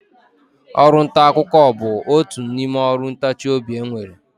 Ọrụntaakụkọ bụ otu n'ime ọrụ ntachiobi e nwere